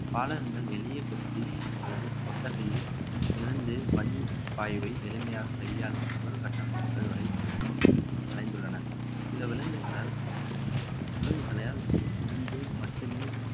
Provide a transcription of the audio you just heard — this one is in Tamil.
பாலகங்கள் எளிய கொட்டி அல்லது கொட்டகையில் இருந்து பனி பாயவை எளிமையாக கையாளும் சூழல் கட்டமைப்புகள் வரை மற்றும் அடைந்துள்ளன சில விலங்குகளால் விலங்குகளையால் இருந்து மட்டுமே